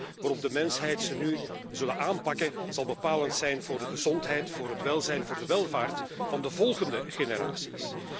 De manier waarop de mensheid deze nu zal aanpakken, zal bepalend zijn voor de gezondheid, voor het welzijn, voor de welvaart van de volgende generaties.